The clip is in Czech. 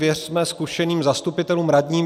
Věřme zkušeným zastupitelům, radním.